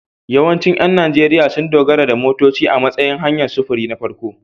Yawancin ƴan Najeriya sun dogara da motoci a matsayin hanyar sufuri na farko.